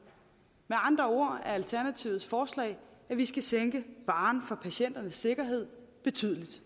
med andre ord er alternativets forslag at vi skal sænke barren for patienternes sikkerhed betydeligt